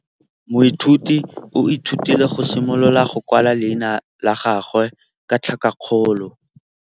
Moithuti o ithutile go simolola go kwala leina la gagwe ka tlhakakgolo.